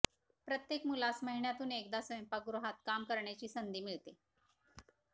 प्रत्येक मुलास महिन्यातून एकदा स्वयंपाकगृहात काम करण्याची संधी मिळते